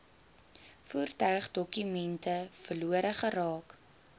voertuigdokumente verlore geraak